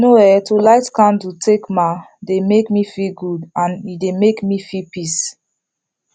you know[um]to light candle takema dey make me feel good and e dey make me feel peace